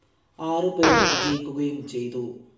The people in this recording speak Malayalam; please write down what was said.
ആറ് പേർ വിജയിക്കുകയും ചെയ്തു.